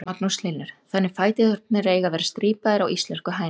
Magnús Hlynur: Þannig fæturnir eiga að vera strípaðar á íslensku hænunum?